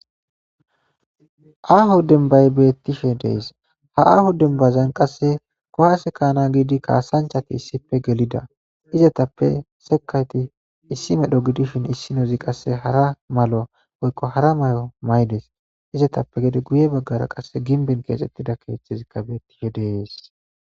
Aahu denbay beettishe dees ha aahu denbazan qasse kohase kaana giidi kaasanchati issipe gelida izatappe sekayti issi medho gidishin issi nozi qasse hara malo oykko hara may7o maydes izatappe gede guye baggara qasse ginbin keexxettida keeththezikka beettishe dees